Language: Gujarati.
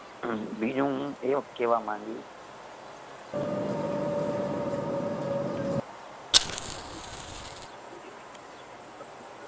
બીજું હું એવ કેવા માંગીશ